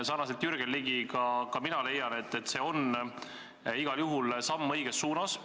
Sarnaselt Jürgen Ligiga leian ka mina, et see on igal juhul samm õiges suunas.